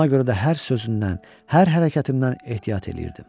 Buna görə də hər sözündən, hər hərəkətimdən ehtiyat eləyirdim.